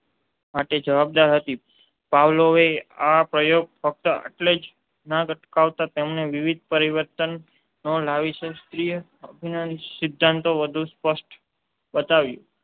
માટે જવાબદાર હતી. પાવલોવે આ પ્રયોગ ફક્ત આટલેથી ના અટકાવતાં તેમાં વિવિધ પરિવર્તનો લાવીને શાસ્ત્રીય અભિસંધાનના સિદ્ધાન્તન વધુ સ્પષ્ટ બનાવ્યો.